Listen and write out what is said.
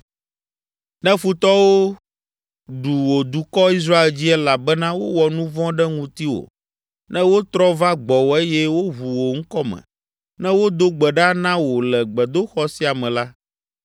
“Ne futɔwo ɖu wò dukɔ, Israel dzi elabena wowɔ nu vɔ̃ ɖe ŋutiwò, ne wotrɔ va gbɔwò eye woʋu wò ŋkɔ me, ne wodo gbe ɖa na wò le gbedoxɔ sia me la,